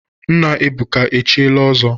Nna Ebuka echiela ọzọ?